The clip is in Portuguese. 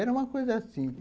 Era uma coisa assim.